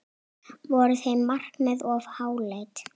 Voru þau markmið of háleit?